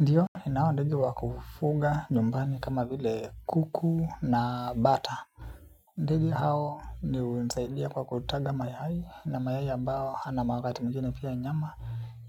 Ndiyo ninao ndege wakufuga nyumbani kama vile kuku na bata. Ndege hao ni hunisaidia kwa kutaga mayai na mayai ambao ana magati mwingin pia nyama.